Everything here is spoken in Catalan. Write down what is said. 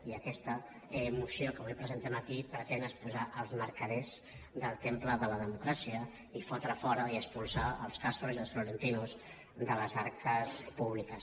i aquesta moció que avui presentem aquí pretén expulsar els mercaders del temple de la democràcia i fotre fora i expulsar els castors i els florentinos de les arques públiques